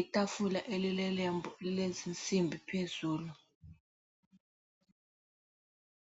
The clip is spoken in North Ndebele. itafula elilelembu lilezinsimbi phezulu.